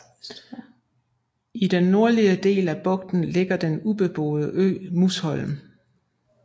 I den nordlige del af bugten ligger den ubeboede ø Musholm